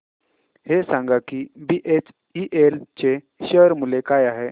हे सांगा की बीएचईएल चे शेअर मूल्य काय आहे